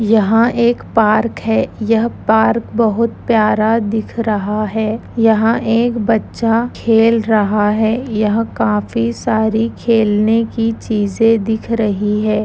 यहाँ एक पार्क है यह पार्क बहुत प्यारा दिख रहा है| यहाँ एक बच्चा खेल रहा है| यह काफी सारी खेलने की चीजें दिख रही है।